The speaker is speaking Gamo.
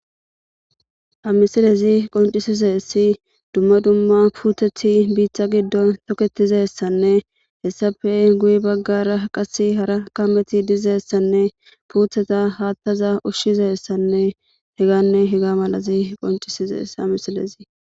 Ha misilezi qoncisizeesi dumma dumma puutethi biiththa giddon toketizessanne hessafe guyi baggara qasi hara kameti diizeessanne puutheta haattaza ushshizessanne heganne hega malazi qoncisizees amisilezi